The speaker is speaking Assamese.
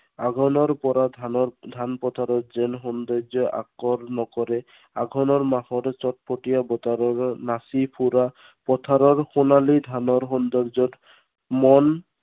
আঘোনৰ পৰা ধানৰ, ধান পথাৰত যেন সৌন্দৰ্যই আকৰ্ষণ কৰে। আঘোনৰ মাহৰ চটফটীয়া বতাহজাকে নাচি ফুৰা পথাৰৰ সোণালী ধানৰ সৌন্দৰ্যত মন